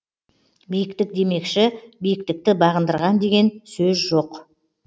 биіктік демекші биіктікті бағындырған деген сөз жоқ